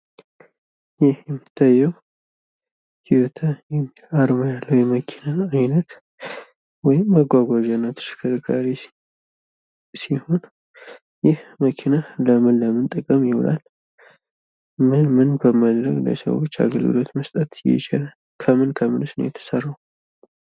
ይህ የሚታየው ይቲዮታ አርማ ያለው የመኪና አይነት ወይም መጋጋዣ እና ተሽከርካሪ ሲሆን ፤ ይህ መኪና ለምን ለምን ጥቅም ይውላል? ምን ምን በማድረግ ለሰዎች አገልግሎት መስጠት ይችላል? ከምን ከምንስ ነው የተሰራው?